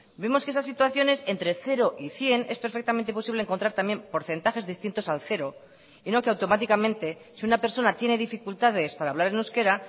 vemos que esas situaciones entre cero y cien es perfectamente posible encontrar también porcentajes distintos al cero y no que automáticamente si una persona tiene dificultades para hablar en euskera